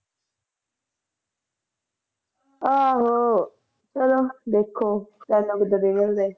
ਆਹੋ ਚਲੋ ਦੇਖੋ